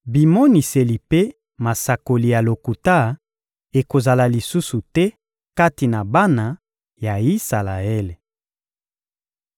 Bimoniseli mpe masakoli ya lokuta ekozala lisusu te kati na bana ya Isalaele.